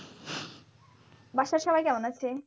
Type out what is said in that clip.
বাসার সবাই কেমন আছে?